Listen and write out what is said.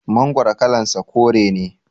Mangoro kalan sa kore ne